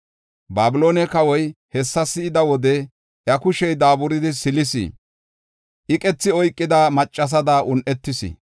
“Babiloone kawoy hessa si7iya wode iya kushey daaburidi silis; iqethi oykida maccasada un7etis.